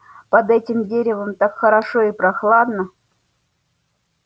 под этим деревом так хорошо и прохладно